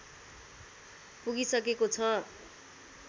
पुगिसकेको छ